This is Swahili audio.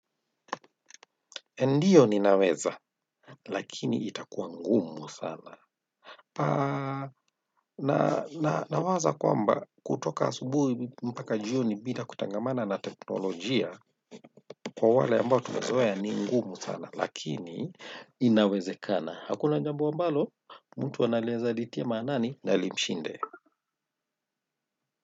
Ndiyo ninaweza, lakini itakuwa ngumu sana. Aaah nawaza kwamba kutoka asubuhi mpaka jioni bila kutangamana na teknolojia kwa wale ambao tumezoea, ni ngumu sana lakini inawezekana. Hakuna jambo ambalo, mtu anaeza litia maanani na limshinde.